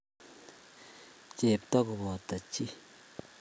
Chepya kobo chi.